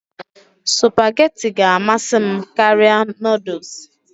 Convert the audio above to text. Supagetii ga-amasị m karịa noodles